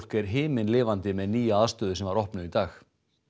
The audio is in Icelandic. er himinlifandi með nýja aðstöðu sem var opnuð í dag